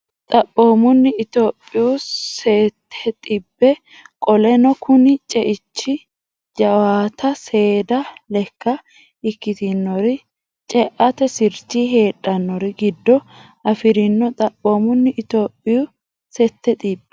Xaphoomunni Itophiyaho sette xibbe Qoleno kuni ceichi jawaata seeda lekka ikkitannori ceate sirchi heedhannori giddo afi rino Xaphoomunni Itophiyaho sette xibbe.